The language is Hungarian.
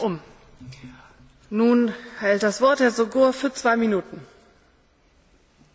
Mindannyian tudjuk, hogy az Európai Unió tagállamaiban valós jelenség a gazdasági bevándorlás.